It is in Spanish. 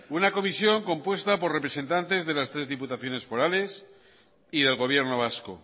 una comisión compuesta por representantes de la tres diputaciones forales y del gobierno vasco